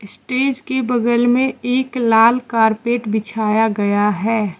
Stage के बगल में एक लाल कारपेट बिछाया गया है।